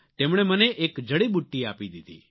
તેમણે મને એક જડીબુટ્ટી આપી દીધી